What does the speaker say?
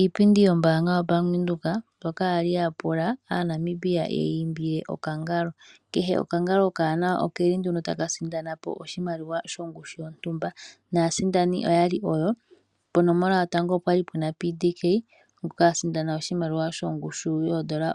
Iipindi yombanga yaBank Windhoek mbyoka yali ya pula aaNamibia yeyi iimbile okangalo. Kehe okangali okawanawa okeli nduno taka sindana po oshimaliwa shongushu yontumba. Naasindani oyali oyo: ponomola yotango opwali puna PDK ngoka ali a sindana oshimaliwa shomayovi